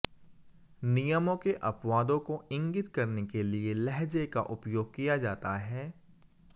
नियमों के अपवादों को इंगित करने के लिए लहजे का उपयोग किया जाता है